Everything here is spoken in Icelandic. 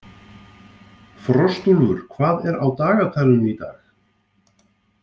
Frostúlfur, hvað er á dagatalinu í dag?